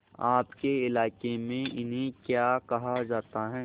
आपके इलाके में इन्हें क्या कहा जाता है